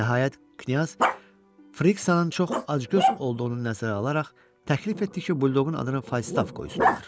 Nəhayət, Knyaz Frixanın çox acgöz olduğunu nəzərə alaraq təklif etdi ki, buldoqun adını Faistav qoysunlar.